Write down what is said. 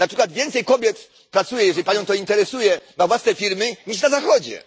Na przykład więcej kobiet pracuje jeśli Panią to interesuje na własne firmy niż na Zachodzie.